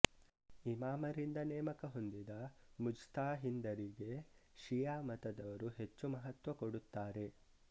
ಇಮಾಮರಿಂದ ನೇಮಕ ಹೊಂದಿದ ಮುಜ್ತಹಿಂದರಿಗೆ ಷಿಯ ಮತದವರು ಹೆಚ್ಚು ಮಹತ್ತ್ವ ಕೊಡುತ್ತಾರೆ